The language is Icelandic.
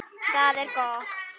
Það er gott